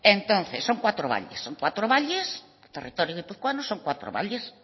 entonces son cuatro valles cuatro valles el territorio guipuzcoano son cuatro valles